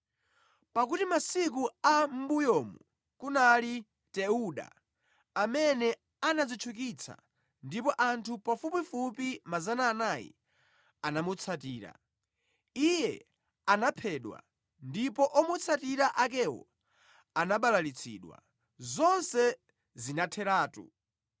Pakuti masiku a mʼmbuyomu kunali Teuda amene anadzitchukitsa, ndipo anthu pafupifupi 400 anamutsatira. Iye anaphedwa ndipo omutsatira akewo anabalalitsidwa, zonse zinatheratu.